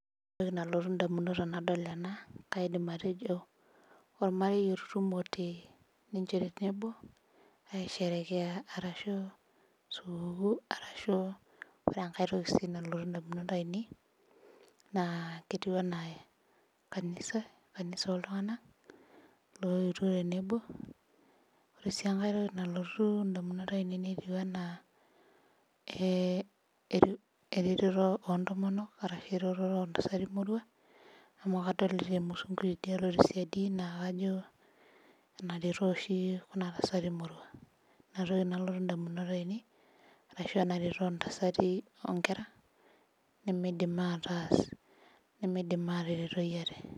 Ore entoki nalotu damunot tenadol ena, kaidim atejo, olmarei oitutumote, ninche tenebo, aisherekea, arashu sukukuu, arashu, ore enkae toki nalotu damunot ainei, ketii anaa kanisa, kanisa ooltunganak looyetuo, tenebo. ore sii enkae toki nalotu damunot ainei netiu. Anaa. eretoto oo ntomonok, ashu eretoto oo ntasati moruak. amu ntasati kumok adolta tede tesidi. naa kajo enaretoo oshi Kuna tasati moruak. inatoli nalotu damunot ainei, ashu ena retoto oo ntasati moruak, nemeidim ataas ,ateretoi ate